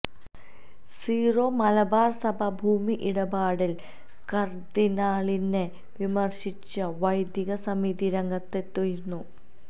Syro Malabar സഭ ഭൂമി ഇടപാടില് കർദിനാളിനെ വിമര്ശിച്ച് വൈദിക സമിതി രംഗത്തെത്തിയിരുന്നു